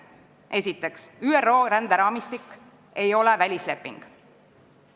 Esiteks, ÜRO ränderaamistik ei ole välisleping.